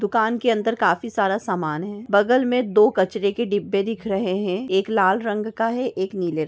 दुकान के अंदर काफी सारा सामान है। बगल मे दो कचरे डिब्बे दिख रहे हैं। एक लाल रंग का है एक नीले रंग --